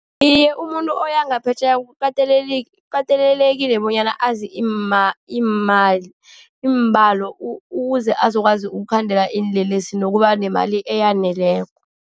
Iye, umuntu oya ngaphetjheya kukatelelekile bonyana azi imali, iimbalo ukuze azokwazi ukukhandela iinlelesi nokuba nemali eyaneleko.